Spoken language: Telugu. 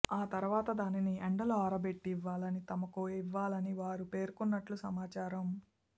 ఆ తర్వాత దానిని ఎండలో ఆరబెట్టి ఇవ్వాలని తమకు ఇవ్వాలని వారు పేర్కొంటున్నట్లు సమాచారం